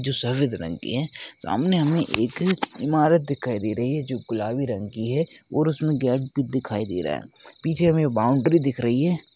जो सफ़ेद रंग की है सामने हमें एक ईमारत दिखाई दे रही है जो गुलाबी रंग की है और उसमें दिखाई दे रहा है पीछे हमें बॉउंड्री दिख रही है।